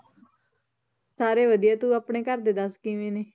ਸਾਰੇ ਵਧੀਆ, ਤੂੰ ਆਪਣੇ ਘਰ ਦੇ ਦੱਸ ਕਿਵੇਂ ਨੇ?